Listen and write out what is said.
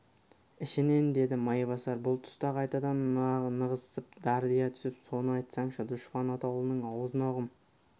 ішінен деді майбасар бұл тұста қайтадан нығызсып дардия түсіп соны айтсаңшы дұшпан атаулының аузына құм